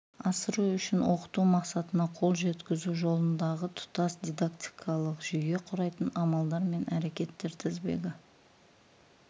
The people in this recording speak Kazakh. асыру үшін оқыту мақсатына қол жеткізу жолындағы тұтас дидактикалық жүйе құрайтын амалдар мен әрекеттер тізбегі